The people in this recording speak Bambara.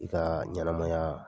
I kaa ɲanamayaa